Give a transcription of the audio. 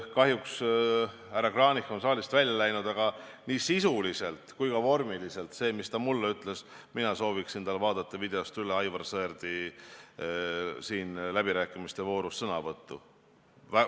Kahjuks on härra Kranich saalist välja läinud, aga nii sisuliselt kui ka vormiliselt see, mis ta mulle ütles – mina soovitaksin tal vaadata videost üle Aivar Sõerdi sõnavõttu siin läbirääkimiste voorus.